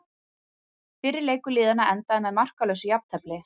Fyrri leikur liðanna endaði með markalausu jafntefli.